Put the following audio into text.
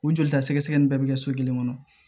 U jolita sɛgɛsɛgɛ in bɛɛ bɛ kɛ so kelen kɔnɔ